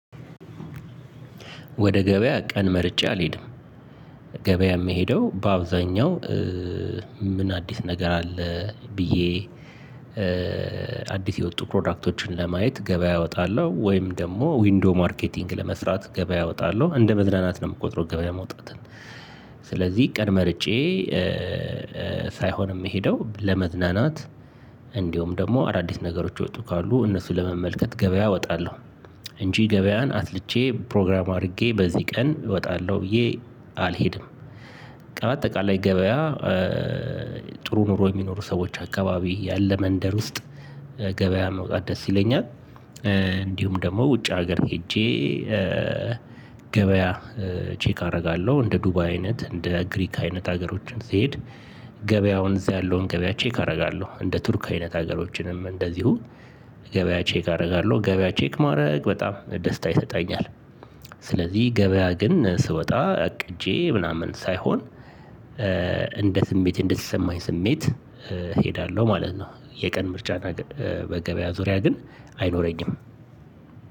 ወደ ገበያ ቀን መርጬ አልሄድም ገበያ የምሄደው በአብዛኛው ምን አዲስ ነገር አለ ብዬ አዲስ የወጡ ፕሮዳክቶችን ለማየት ገበያ እወጣለሁ። ወይም ደግሞ ዊንዶው ማርኬቲንግ ለመፍራት ገበያ እወጣለሁ እንደ መዝናናት ነው የምቆጥረው። ገበያ መውጣትን ስለዚህ ቀን መርጬ ሳይሆን የምሄደው ለመዝናናት እንዲሁም ደግሞ አዳዲስ ነገሮች የወጡ ካሉ እነሱን ለመመልከት ገበያ እወጣለሁ። እንጂ ገበያን አስልቼ ፕሮግራም አድርጌ በዚህ ቀን እወጣለሁ ብዬ አልሄድም። በቃ በአጠቃላይ ገበያ ጥሩ ኑሮ የሚኖሩ ሰዎች አካባቢ ያለ መንደር ውስጥ ገበያ መውጣት ደስ ይለኛል። እንዲሁም ደግሞ ውጭ ሀገር ሄጄ ገበያ ቼክ አደርጋለሁ እንደ ዱባይ አይነት እንደ ግሪክ አይነት ሀገሮችን ስሄድ ገበያውን እዛ ያለውን ገበያ ቼክ አደርጋለሁ። እንደ ቱርክ አይነት ሀገሮችንም እንደዚሁ ገበያ ቼክ አደርጋለሁ። ገበያ ቼክ ማድረግ በጣም ደስታ ይሰጠኛል። ስለዚህ ገበያ ግን ስወጣ አቅጄ ምናምን ሳይሆን እንደ ስሜት እንደተሰማኝ ስሜት እሄዳለሁ ማለት ነው። የቀን ምርጫ በገበያ ዙሪያ ግን አይኖረኝም።